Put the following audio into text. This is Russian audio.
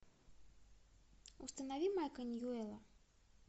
установи майка ньюэла